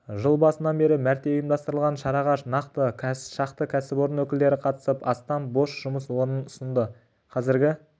жыл басынан бері мәрте ұйымдастырылған шараға шақты кәсіпорын өкілдері қатысып астам бос жұмыс орнын ұсынды қазіргі